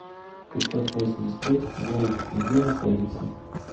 пятьсотвосемьдесятпятьголд где находится